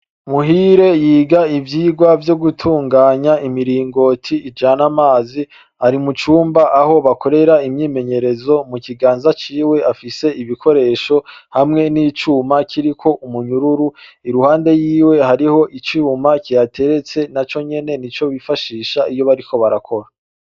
Muhire yoga ibijanye n'ivyirwa vyo gutunganya imirongoti ijama ari mucumba aho bakorera imyimenyerezo, mu kiganza ciwe afise ibikoresho hamwe n'icuma kiriko umunyororo iruhande yiwe hariho icumba kihateretse naco nyene nico bifashisha bariko barakora.